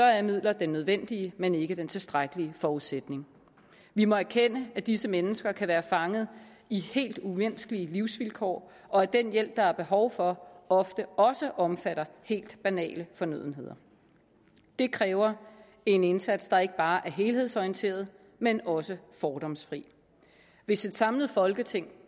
er midler den nødvendige men ikke den tilstrækkelige forudsætning vi må erkende at disse mennesker kan være fanget i helt umenneskelige livsvilkår og at den hjælp der er behov for ofte også omfatter helt banale fornødenheder det kræver en indsats der ikke bare er helhedsorienteret men også fordomsfri hvis et samlet folketing